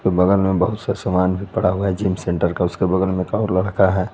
बगल मैं बहुत सा सामान भी पड़ा हुआ है जिम सेंटर का उसके बगल में कई लड़का है।